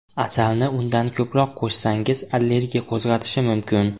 Asalni undan ko‘proq qo‘shsangiz allergiya qo‘zg‘atishi mumkin.